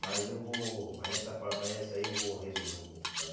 Mas eu vou... Mas essa par mas essa aí eu vou resumir um pouco, sabe?